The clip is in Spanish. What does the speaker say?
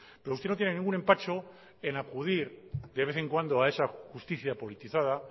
pero usted no tiene ningún empacho en acudir de vez en cuando a esa justicia politizada